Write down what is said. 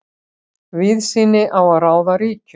Víðsýni á að ráða ríkjum.